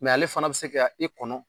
Mɛ ale fana bɛ se ka i kɔnɔ